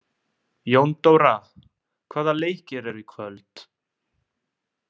Jóndóra, hvaða leikir eru í kvöld?